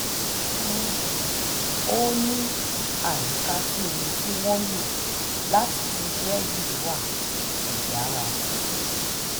ó ní àyíká tí omi tí wọ́n ń lò láti ṣiṣẹ́ yìí wà kò dára tó